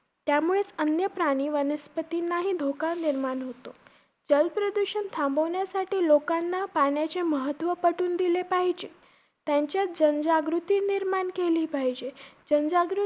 त्यामुळेचं अन्य प्राणी वनस्पतींना धोका निर्माण होतो. जलप्रदूषण थांबवण्यासाठी लोकांना पाण्याचे महत्व पटवून दिले पाहिजे. त्यांच्यात जनजागृती निर्माण केले पाहिजे. जनजागृती